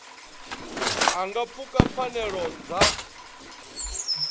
a nga pfuka pfanelo dza